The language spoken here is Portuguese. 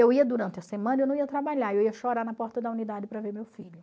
Eu ia durante a semana, eu não ia trabalhar, eu ia chorar na porta da unidade para ver meu filho.